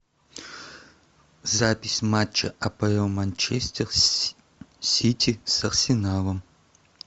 запись матча апл манчестер сити с арсеналом